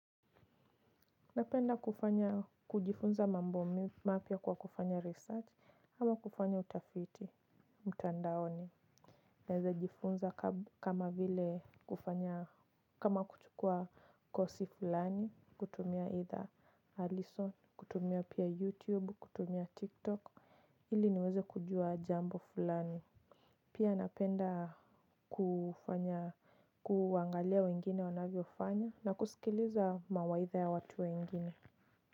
Napenda kufanya kujifunza mambo mapya kwa kufanya research ama kufanya utafiti mtandaoni. Naeza jifunza kama vile kufanya kama kuchukua kosi fulani. Kutumia either alison, kutumia pia youtube, kutumia tiktok ili niweze kujua jambo fulani. Pia napenda kufanya kuangalia wengine wanavyofanya na kusikiliza mawaitha ya watu wengine.